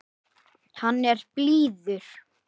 Hann er blíður.